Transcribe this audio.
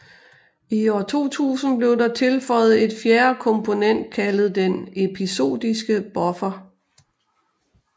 I år 2000 blev der tilføjet et fjerde komponent kaldet den episodiske buffer